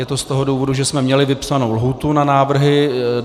Je to z toho důvodu, že jsme měli vypsanou lhůtu na návrhy.